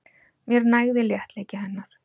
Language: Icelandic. Mér nægði léttleiki hennar.